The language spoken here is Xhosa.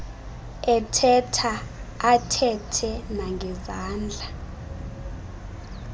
ethetha athethe nangezandla